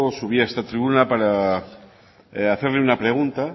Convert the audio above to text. subía a esta tribuna para hacerle una pregunta